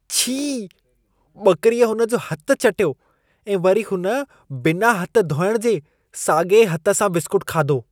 छी! ॿकिरीअ हुन जो हथि चटियो ऐं वरी हुन बिना हथ धोइण जे साॻिए हथ सां बिस्कूटु खाधो।